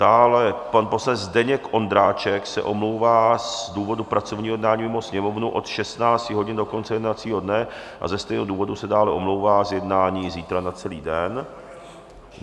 Dále pan poslanec Zdeněk Ondráček se omlouvá z důvodu pracovního jednání mimo Sněmovnu od 16 hodin do konce jednacího dne a ze stejného důvodu se dále omlouvá z jednání zítra na celý den.